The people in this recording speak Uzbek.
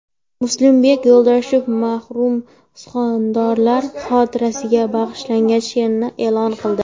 Muslimbek Yo‘ldoshev marhum suxandonlar xotirasiga bag‘ishlangan she’rini e’lon qildi.